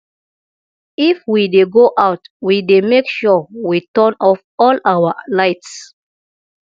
if we dey go out we dey make sure we turn off all our lights